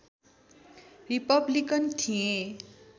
Republican थिए